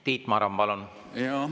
Tiit Maran, palun!